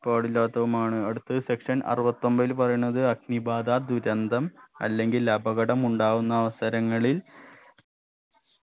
പാടില്ലാത്തതുമാണ് അടുത്തത് section അറുപത്തൊമ്പതിൽ പറയുന്നത് അഗ്നിബാധ ദുരന്തം അല്ലെങ്കിൽ അപകടം ഉണ്ടാകുന്ന അവസരങ്ങളിൽ